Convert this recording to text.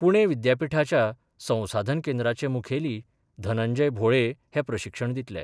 पुणे विद्यापिठाच्या संसाधन केंद्राचे मुखेली धनंजय भोळे हे प्रशिक्षण दितले.